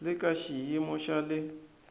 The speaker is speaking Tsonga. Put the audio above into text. le ka xiyimo xa le